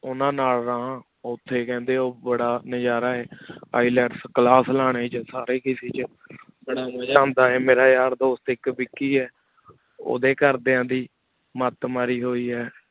ਉਨਾ ਨਾਲ ਰਹਨ ਉਠੀ ਕੰਦ੍ਯਨ ਉਠੀ ਬਾਰਾ ਨਜ਼ਾਰਾ ILETS ਲਾਨ੍ਯਨ ਚ ਸਾਰੀ ਕਿਸੀ ਚ ਬਾਰਾ ਮਜ਼ਾ ਉਂਦਾ ਵਾ ਮੇਰਾ ਯਾਰ ਦੋਸਤ ਏਕ ਵੇਕੀ ਆਯ ਉਦਯ ਕਰ ਦਾਨ ਦੀ ਮਤ ਮਾਰੀ ਹੁਈ ਆਯ